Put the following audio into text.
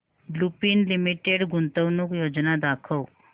Lupin limited गुंतवणूक योजना दाखव